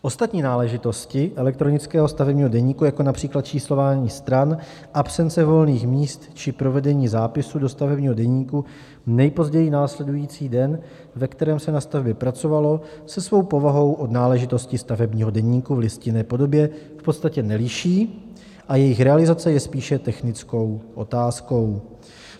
Ostatní náležitosti elektronického stavebního deníku jako například číslování stran, absence volných míst či provedení zápisu do stavebního deníku nejpozději následující den, ve kterém se na stavbě pracovalo, se svou povahou od náležitosti stavebního deníku v listinné podobě v podstatě neliší a jejich realizace je spíše technickou otázkou.